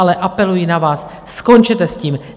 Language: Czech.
Ale apeluji na vás, skončete s tím!